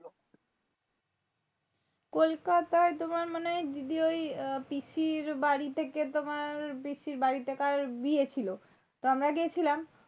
কোলকাতাই তোমার মানে দিদি ওই আহ পিসির বাড়ি থেকে তোমার, পিসির বাড়িতে কার বিয়ে ছিল তা আমরা গিয়েছিলাম।